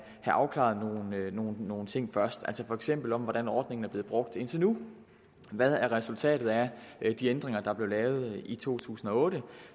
afklaret nogle nogle ting først altså for eksempel hvordan ordningen er blevet brugt indtil nu og hvad resultatet er af de ændringer der blev lavet i to tusind og otte